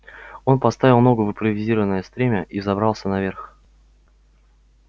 он поставил ногу в импровизированное стремя и взобрался наверх